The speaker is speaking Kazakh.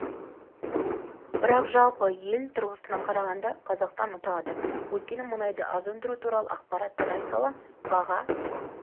бірақ жалпы ел тұрғысынан қарағанда қазақстан ұтады өйткені мұнайды аз өндіру туралы ақпарат тарай сала баға